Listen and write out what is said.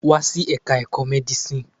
Wá sí Ẹ̀ka-ẹ̀kọ́ Medicine.